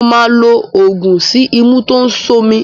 Mo máa lo oògùn sí imú tó ń ṣomi.